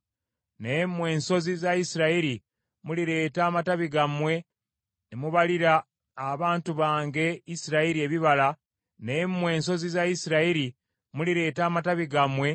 “ ‘Naye mmwe ensozi za Isirayiri mulireeta amatabi gammwe ne mubalira abantu bange Isirayiri ebibala byammwe kubanga banaatera okudda ewaabwe.